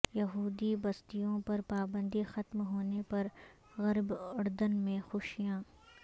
یہودی بستیوں پر پابندی ختم ہونے پرغرب اردن میں خوشیاں